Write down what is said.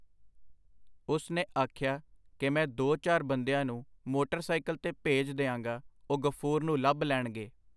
ਉਸ ਨੇ ਆਖਿਆ ਕਿ ਮੈਂ ਦੋ ਚਾਰ ਬੰਦਿਆਂ ਨੂੰ ਮੋਟਰਸਾਈਕਲ ਤੇ ਭੇਜ ਦਿਆਂਗਾ ਉਹ ਗ਼ਫੂਰ ਨੂੰ ਲੱਭ ਲੈਣਗੇ.